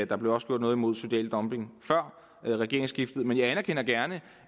der blev også gjort noget imod social dumping før regeringsskiftet men jeg anerkender gerne